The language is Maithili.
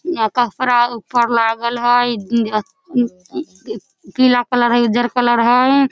अ कपड़ा ऊपर लागल हई इ ए अ पीला कलर उजर कलर हई।